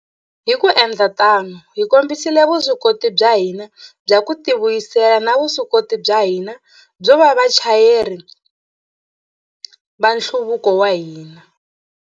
Hi ku endla tano, hi kombisile vuswikoti bya hina bya ku tivuyisela na vuswikoti bya hina byo va vachayeri va nhluvuko wa hina.